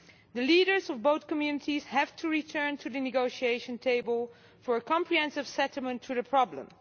The leaders of both communities have to return to the negotiation table for a comprehensive settlement to the problem.